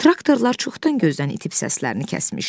Traktorlar çoxdan gözdən itib səslərini kəsmişdi.